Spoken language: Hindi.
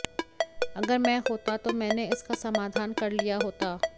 अगर मैं होता तो मैंने इसका समाधान कर लिया होता